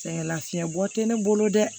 Sɛgɛn lafiɲɛ bɔ tɛ ne bolo dɛ